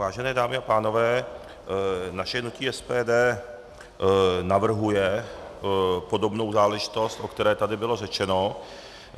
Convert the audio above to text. Vážené dámy a pánové, naše hnutí SPD navrhuje podobnou záležitost, o které tady bylo řečeno.